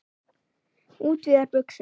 Útvíðar buxur.